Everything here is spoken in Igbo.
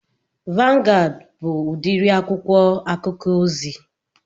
Vangụad bụ udiri akwụkwọ akụkọ ozi